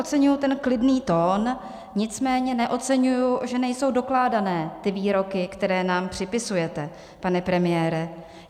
Oceňuji ten klidný tón, nicméně neoceňuji, že nejsou dokládané ty výroky, které nám připisujete, pane premiére.